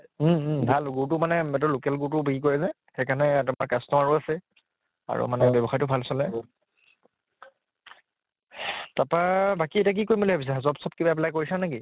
উম উম ভাল গুড়্তো মানে local গুড়্তো বিক্ৰী কৰে যে সেইকাৰণে customer ও আছে আৰু মানে ব্য়ৱসায়টো ভাল চলে । তাপা বাকী এতিয়া কি কৰিম ভাবিছা? job চব কিবা apply কৰিছা নেকি?